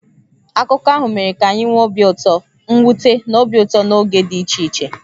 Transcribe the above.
Akụkọ ahụ mere ka anyị nwee obi ụtọ, mwute, na obi ụtọ n'oge dị iche iche.